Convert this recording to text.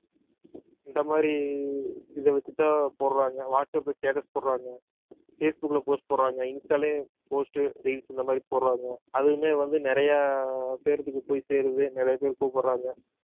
இந்த மாதிரி இதை வச்சுத்தான் போடுறாங்க வாட்ஸ் அப்ல status போடுறாங்க பேஸ் புக்ல post போடுறாங்க இன்ஸ்டாலயும் post reels இந்த மாதிரி போடுறாங்க அதுவுமே வந்து நிறைய பேர்த்துக்கு போய் சேருது நிறைய பேர் கூப்பிடுறாங்க